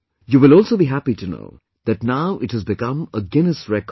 You will also be happy to know that now it has become a Guinness Record